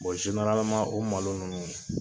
o malo ninnu